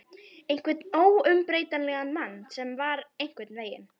Einhvern óumbreytanlegan mann sem var einhvern veginn.